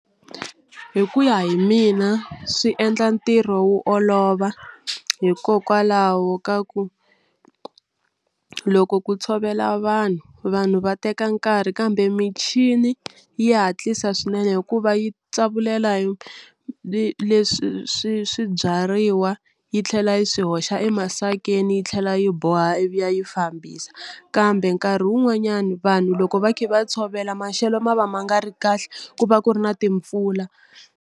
Hi ku ya hi mina swi endla ntirho wo olova hikokwalaho ka ku loko ku tshovela vanhu vanhu va teka nkarhi kambe michini ya hatlisa swinene hikuva yi tsavulela yi leswi swi swibyariwa yi tlhela yi swi hoxa emasakeni yi tlhela yi boha ivi yi fambisa kambe nkarhi wun'wanyani vanhu loko va kha va tshovela maxelo ma va ma nga ri kahle ku va ku ri na timpfula.